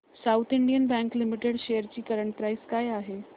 south Indian bank limited shares ची current price काय आहे